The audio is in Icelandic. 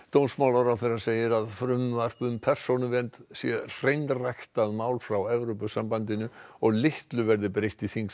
dómsmálaráðherra segir að frumvarp um persónuvernd sé hreinræktað mál frá Evrópusambandinu og litlu verði breytt í þingsal